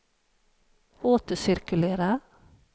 återcirkulera